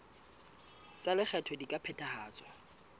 tsa lekgetho di ka phethahatswa